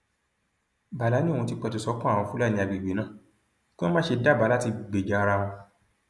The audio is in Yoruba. bálá ni òun ti pẹtù sọkàn àwọn fúlàní àgbègbè náà kí wọn má ṣe dábàá àti gbèjà ara wọn